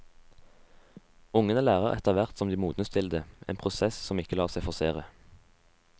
Ungene lærer etterhvert som de modnes til det, en prosess som ikke lar seg forsere.